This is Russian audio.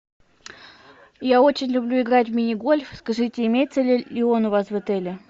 я очень люблю играть в мини гольф скажите имеется ли он у вас в отеле